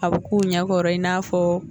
A b'u k'u ɲɛkɔrɔ i n'a fɔ